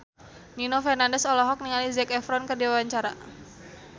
Nino Fernandez olohok ningali Zac Efron keur diwawancara